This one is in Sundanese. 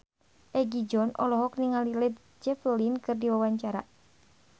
Egi John olohok ningali Led Zeppelin keur diwawancara